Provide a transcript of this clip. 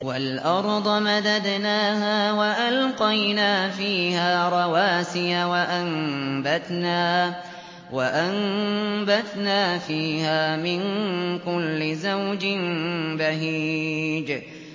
وَالْأَرْضَ مَدَدْنَاهَا وَأَلْقَيْنَا فِيهَا رَوَاسِيَ وَأَنبَتْنَا فِيهَا مِن كُلِّ زَوْجٍ بَهِيجٍ